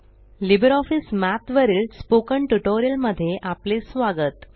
Libre office Math वरील spoken tutorial मध्ये आपले स्वागत